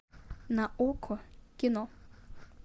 на окко кино